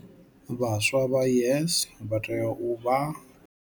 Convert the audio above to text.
Vhaswa vha YES vha tea u vha.